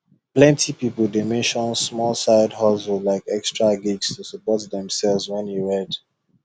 plenty people dey mention small side hustle like extra gigs to support themselves when e red